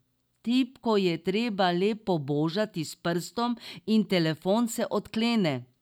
Tipko je treba le pobožati s prstom in telefon se odklene.